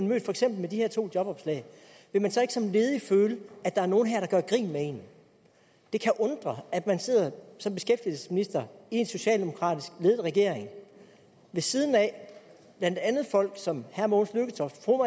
med for eksempel de her to jobopslag vil man så ikke som ledig føle at der er nogle her der gør grin med en det kan undre at man sidder som beskæftigelsesminister i en socialdemokratisk ledet regering ved siden af blandt andet folk som herre mogens lykketoft fru